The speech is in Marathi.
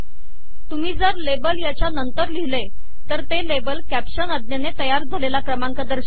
तुम्ही जर लेबल याच्या नंतर लिहिले तर ते लेबल कॅप्शन आज्ञेने तयार झालेला क्रमांक दर्शवेल